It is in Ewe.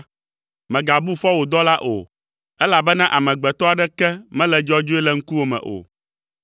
Mègabu fɔ wò dɔla o, elabena amegbetɔ aɖeke mele dzɔdzɔe le ŋkuwò me o.